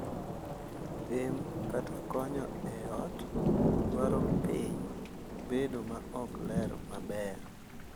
Tim, kata konyo e ot, dwoko piny bedo ma ok ler maber.